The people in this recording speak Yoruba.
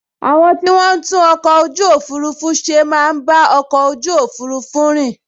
Àwọn tí wọ́n n tún ọkọ̀ ojú òfurufú ṣe máa n bá ọkọ̀ ojú òfurufú rìn